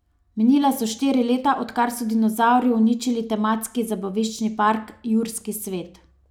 Minila so štiri leta, odkar so dinozavri uničili tematski zabaviščni park Jurski svet.